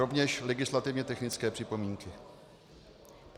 Rovněž legislativně technické připomínky.